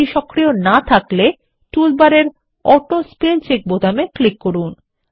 এটি সক্রিয় না থাকলে তাহলে টুলবারে অটো স্পেল চেক বোতামে ক্লিক করুন